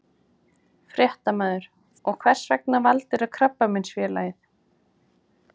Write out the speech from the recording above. Fréttamaður: Og hvers vegna valdirðu Krabbameinsfélagið?